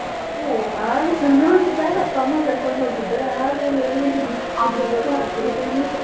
ಹೂ ನನ್ ಸಣ್ಣವಳಿದ್ದಾಗ ಅಪ್ಪ ಅಮ್ಮ ಕರ್ಕೊಂಡು ಹೋಗಿದ್ ಆಮೇಲೆ ಎಲ್ಲಿದು .